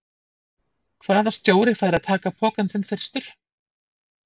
Hvaða stjóri fær að taka pokann sinn fyrstur?